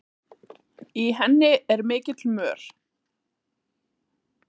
Í henni er mikill mör.